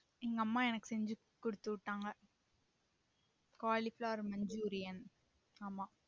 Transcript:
எங்க அம்மா எனக்கு செஞ்சி குடுத்து விட்டாங்க cauliflower machurian ஆமா